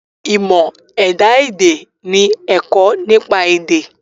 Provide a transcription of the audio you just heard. Ìmọ̀ ẹ̀dá èdè ni ẹ̀kọ́ nípa èdè.